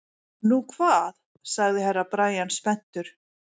Nú hvað sagði Herra Brian spenntur.